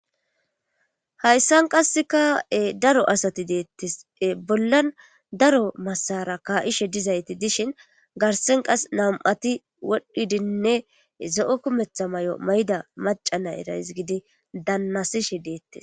Hayssan qass ka,e daro asati deettese bollan daro masara kaa,ishe dizayti dishin garsen qas nam,ati wodhdhidinne zo,o kumetha may,o mayda maca nay rays gidi dannasishe deettes.